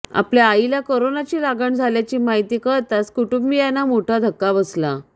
आपल्या आईला कोरोनाची लागण झाल्याची माहिती कळताच कुटुंबीयांना मोठा धक्का बसला